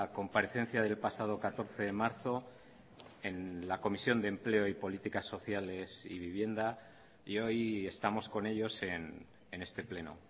comparecencia del pasado catorce de marzo en la comisión de empleo y políticas sociales y vivienda y hoy estamos con ellos en este pleno